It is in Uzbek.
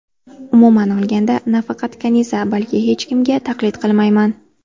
Umuman olganda, nafaqat Kaniza, balki hech kimga taqlid qilmayman.